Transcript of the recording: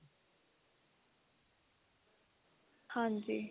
ਹਾਂਜੀ